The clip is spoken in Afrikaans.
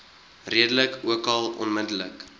rede ookal onmiddellik